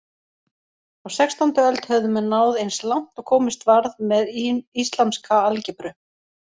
Á sextándu öld höfðu menn náð eins langt og komist varð með islamska algebru.